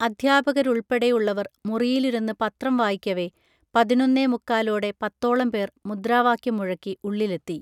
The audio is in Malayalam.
അധ്യാപകരുൾപ്പെടെയുള്ളവർ മുറിയിലിരുന്ന് പത്രം വായിക്കവേ പതിനൊന്നേമുക്കാലോടെ പത്തോളംപേർ മുദ്രാവാക്യം മുഴക്കി ഉള്ളിലെത്തി